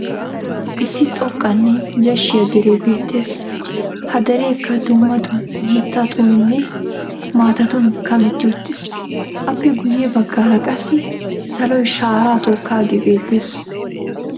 Issi xoqqaanne yashshiya deree beettes. Ha dereekka dumma dumma mittatuuninne maatatun kametti uttis. Appe guyye baggaara qassi saloy shararaa tookkaagee beettes.